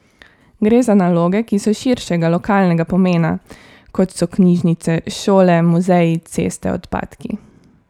Gre za naloge, ki so širšega lokalnega pomena kot so knjižnice, šole, muzeji, ceste, odpadki.